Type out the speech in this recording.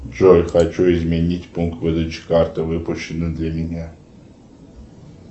джой хочу изменить пункт выдачи карты выпущенной для меня